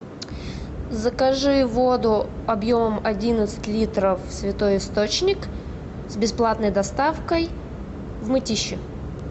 закажи воду объемом одиннадцать литров святой источник с бесплатной доставкой в мытищи